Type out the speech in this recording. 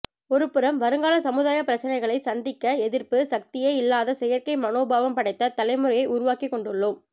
ஒருபுறம் வருங்கால சமுதாயப் பிரச்சினைகளைச் சந்திக்க எதிர்ப்பு சக்தியே இல்லாத செயற்கை மனோபாவம் படைத்த தலைமுறையை உருவாக்கிக் கொண்டுள்ளோம்